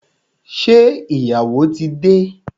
Ṣé ìyàwó tí dé?